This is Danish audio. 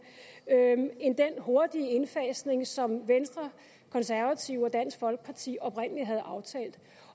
end den hurtige indfasning som venstre konservative og dansk folkeparti oprindelig havde aftalt